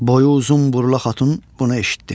Boyu uzun burla xatun bunu eşitdi.